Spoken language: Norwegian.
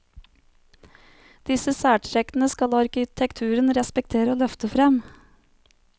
Disse særtrekkene skal arkitekturen respektere og løfte frem.